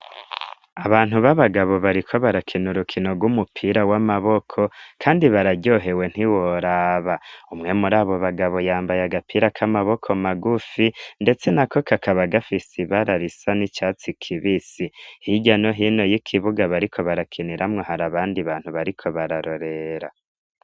Abantu baba gabo bariko barakina urukino rw'umupira w'amaboko kandi bararyohewe ntiworaba umwe muri abo bagabo yambaye agapira k'amaboko magufi ndetse nako kakaba gafise ibara risa n'icatsi kibisi hirya no hino y'ikibuga bariko barakeniramwo hari abandi bantu bariko bararorera.